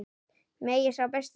Megi sá besti sigra.